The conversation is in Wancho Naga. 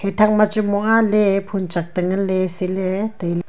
e thak ma chu mua le phoon chak tengan le sile taile.